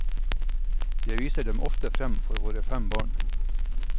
Jeg viser dem ofte fram for våre fem barn.